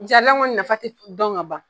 kɔni nafa ti dɔn ka ban